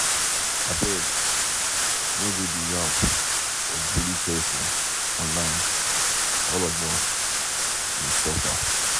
Abeg, no go dey yab or bully pesin online, all of us dey suffer.